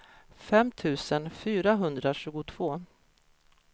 fem tusen fyrahundratjugotvå